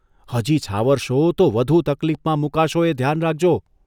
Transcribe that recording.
હજી છાવરશો તો વધુ તકલીફમાં મૂકાશો એ ધ્યાન રાખજો.